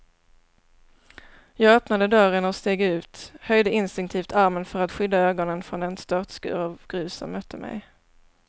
Jag öppnade dörren och steg ut, höjde instinktivt armen för att skydda ögonen från den störtskur av grus som mötte mig.